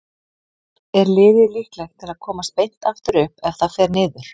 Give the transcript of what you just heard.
Er liðið líklegt til að komast beint aftur upp ef það fer niður?